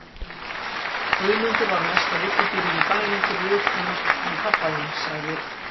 Guðmundur var mesta villidýrið í bænum fyrir utan hann pabba þinn sagði